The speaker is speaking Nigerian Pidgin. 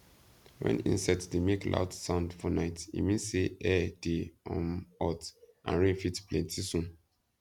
when insects dey make loud sound for night e mean say air dey um hot and rain fit plenty soon